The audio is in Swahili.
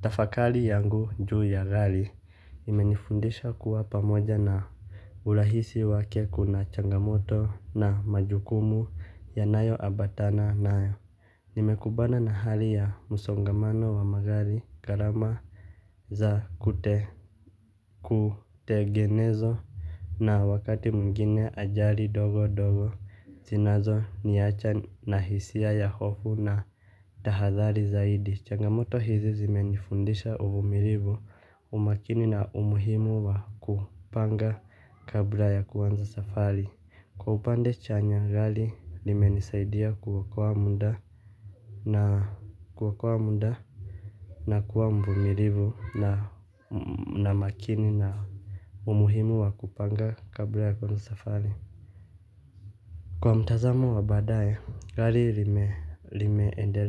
Tafakari yangu juu ya gari imenifundisha kuwa pamoja na urahisi wake kuna changamoto na majukumu yanayoambatana nayo. Nimekumbana na hali ya msongamano wa magari gharama za kutengenezwa na wakati mwingine ajali ndogo ndogo zinazoniacha na hisia ya hofu na tahadhari zaidi. Changamoto hizi zimenifundisha uvumilivu umakini na umuhimu wa kupanga kabla ya kuanza safari. Kwa upande chanya gari limenisaidia kuokoa muda na kuokoa muda na kuwa mvumilivu. Na makini na umuhimu wa kupanga kabla ya kuwanza safari kwa mtazamo wa baadae, gari limeendelea.